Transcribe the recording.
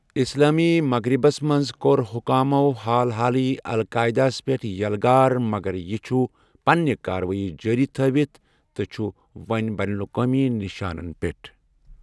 اِسلٲمی مغرِبس منٛز کوٚر حكامو حال حالٕے القاعِدا ہس پیٹھ یلغار، مگر یہِ چُھ پننہِ کارٕوٲیی جٲری تٔھٲوِتھ تہٕ چُھ وۄنی بین الاقوٲمی نِشانن پٮ۪ٹھ۔